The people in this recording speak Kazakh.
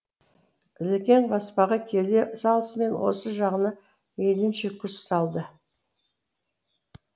ілекең баспаға келе салысымен осы жағына мейлінше күш салды